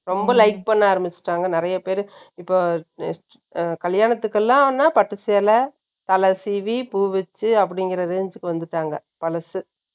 ரொம்ப like பண்ண ஆரம்பிச்சுட்டாங்க, நிறைய பேரு. இப்ப, ஆ, கல்யாணத்துக்கு எல்லாம்ன்னா, பட்டு சேலை, தலை சீவி, பூ வச்ச அப்படிங்கிற range க்கு வந்துட்டாங்க. பழசு